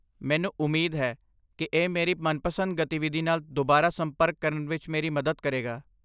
ਮੈਨੂੰ ਉਮੀਦ ਹੈ ਕਿ ਇਹ ਮੇਰੀ ਮਨਪਸੰਦ ਗਤੀਵਿਧੀ ਨਾਲ ਦੁਬਾਰਾ ਸੰਪਰਕ ਕਰਨ ਵਿੱਚ ਮੇਰੀ ਮਦਦ ਕਰੇਗਾ।